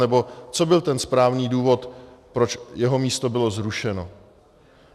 Nebo co byl ten správný důvod, proč jeho místo bylo zrušeno?